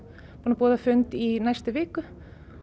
búin að boða fund í næstu viku